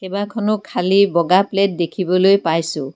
কেইবাখনো খালী বগা প্লেট দেখিবলৈ পাইছোঁ।